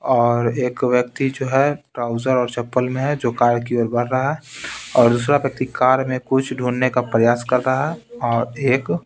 और एक व्यक्ति जो है ट्राउजर और चप्पल में है जो कार की ओर बढ़ रहा है और दूसरा व्यक्ति कार में कुछ ढूंढने का प्रयास कर रहा है और एक --